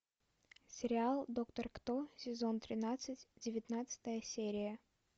сериал доктор кто сезон тринадцать девятнадцатая серия